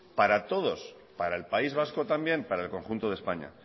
para todos para el país vasco también para el conjunto de españa